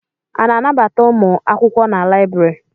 A na-anabata ụmụ akwụkwọ na láyịbụrị?